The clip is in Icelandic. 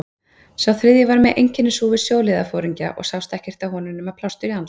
Sá þriðji var með einkennishúfu sjóliðsforingja og sást ekkert á honum nema plástur á andliti.